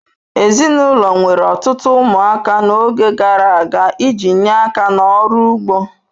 Ezinụlọ nwere ọtụtụ ụmụaka n'oge gara aga iji nye aka n'ọrụ ugbo.